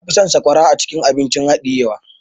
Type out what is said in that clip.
Na fi son sakwara acikin abun hadiye wa.